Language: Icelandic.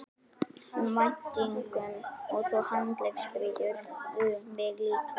um væntingum og svo handleggsbrýturðu mig líka.